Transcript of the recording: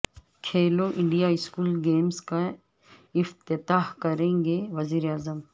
کھیلو India school games کا افتتاح کریں گے وزیر اعظم